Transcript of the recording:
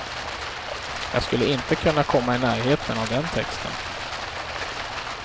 Jag skulle inte kunna komma i närheten av den texten.